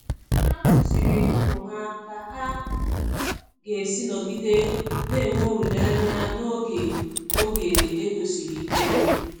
Ha kụziiri ụmụ ha ka ha ga-esi nọgide na-enwe olileanya n'oge oge ego siri ike.